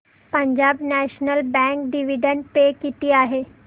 Punjab national bank dividend पे किती आहे